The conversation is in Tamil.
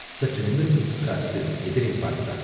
சற்று நிமிர்ந்து உட்கார்ந்து எதிரே பார்த்தான்.